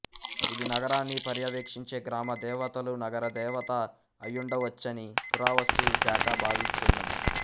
ఇది నగరాన్ని పర్యవేక్షించే గ్రామ దేవతలునగర దేవత అయ్యుండవచ్చని పురావస్తు శాఖ భావిస్తున్నది